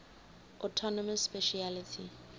autonomous specialty